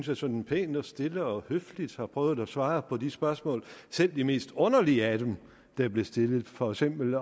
jeg sådan pænt og stille og høfligt har prøvet at svare på de spørgsmål selv de mest underlige af dem der er blevet stillet for eksempel